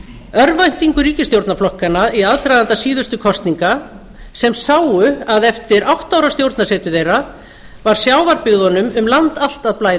örvæntingu ríkisstjórnarflokkanna í aðdraganda síðustu kosninga sem sáu að eftir átta ára stjórnarsetu þeirra var sjávarbyggðunum um land allt að blæða